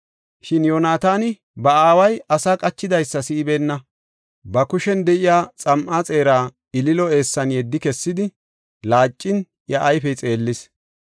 Shin Yoonataani iya aaway asara oda qachidaysa si7ibeenna. Hessa gisho, ba kushen de7iya xam7a xeeraa ililo eessan yeddi kessidi, laacin iya ayfey xeellis.